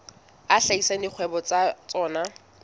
a hlahisa dikgwebo tsa tsona